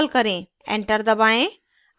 enter दबाएँ